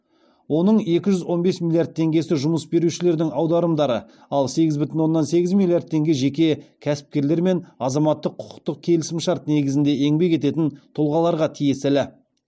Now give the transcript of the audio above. оның екі жүз он бес млрд теңгесі жұмыс берушілердің аударымдары ал сегіз бүтін оннан сегіз миллиард теңге жеке кәсіпкерлер мен азаматтық құқықтық келісімшарт негізінде еңбек ететін тұлғаларға тиесілі